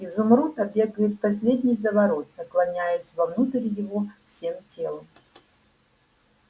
изумруд обегает последний заворот наклоняясь вовнутрь его всем телом